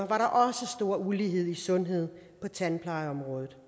var der også stor ulighed i sundhed på tandplejeområdet